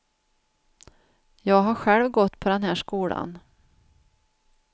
Jag har själv gått på den här skolan.